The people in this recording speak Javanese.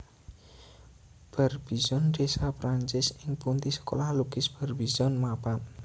Barbizon desa Perancis ing pundi Sekolah Lukis Barbizon mapan